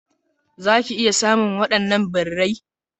Zaki iya sayen wadannan birrai.